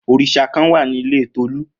Orisa kan wa ni ile Tolu.